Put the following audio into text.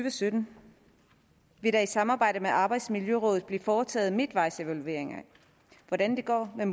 og sytten vil der i samarbejde med arbejdsmiljørådet blive foretaget midtvejsevalueringer af hvordan det går med